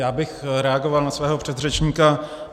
Já bych reagoval na svého předřečníka.